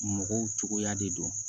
Mɔgɔw cogoya de don